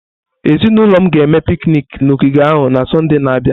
Ezinụlọ m ga-eme piknik na ogige ahụ na Sọnde na-abịa.